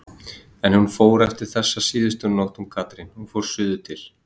En hún fór eftir þessa síðustu nótt hún Katrín, hún fór suður til